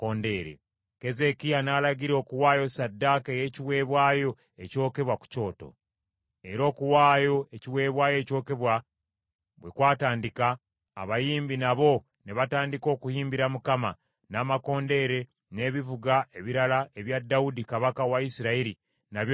Keezeekiya n’alagira okuwaayo ssaddaaka ey’ekiweebwayo ekyokebwa ku kyoto. Era okuwaayo ekiweebwayo ekyokebwa bwe kwatandika, abayimbi nabo ne batandika okuyimbira Mukama , n’amakondeere n’ebivuga ebirala ebya Dawudi kabaka wa Isirayiri nabyo ne bivuga.